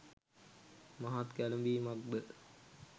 මහත් කැළඹීමක්ද